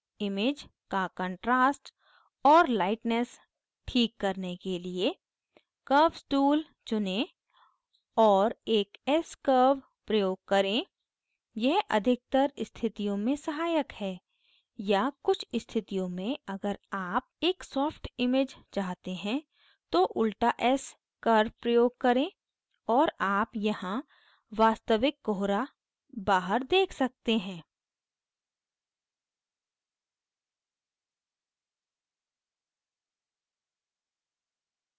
image का contrast और lightness ठीक करने के लिए curves tool चुनें और एक s curves प्रयोग करें यह अधिकतर स्थितियों में सहायक है या कुछ स्थितियों में अगर आप एक softer image चाहते हैं तो उल्टा s curves प्रयोग करें और आप यहाँ वास्तविक कोहरा बाहर देख सकते हैं